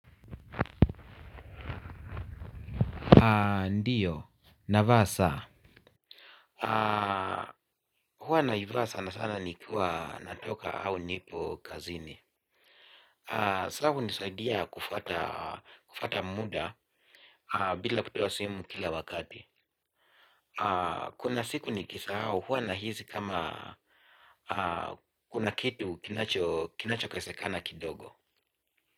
Ndiyo, navaa saa. Huwa naivaa sana sana nikiwa natoka au nipo kazini saa hunisaidia kufuata muda bila kutoa simu kila wakati. Kuna siku nikisahau huwa nahisi kama kuna kitu kinachokosekana kidogo.